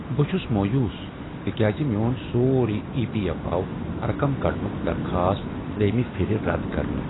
بہٕ چُھس مویوس تکیازِ میٛون سورُے ایی پی ایف آو رقم کڈنُک درخاست ترٛیٚیمہِ پھرِ رد کرنہٕ۔